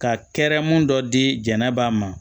Ka kɛrɛmu dɔ di jɛnɛba ma